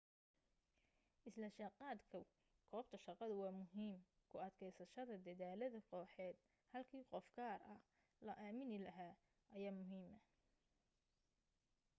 isla jaanqaadku goobta shaqadu waa muhiim ku adkaysashada dedaalada kooxeed halkii qof gaara la amaani lahaa ayaa muhiima